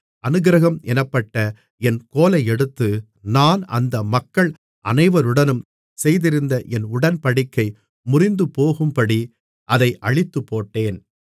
அநுக்கிரகம் என்னப்பட்ட என் கோலை எடுத்து நான் அந்த மக்கள் அனைவருடனும் செய்திருந்த என் உடன்படிக்கை முறிந்துபோகும்படி அதை அழித்துப்போட்டேன்